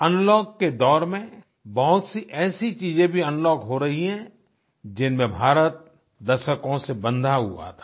unlock के दौर में बहुत सी ऐसी चीजें भी अनलॉक हो रही हैं जिनमें भारत दशकों से बंधा हुआ था